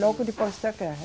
Logo depois da guerra.